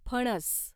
फणस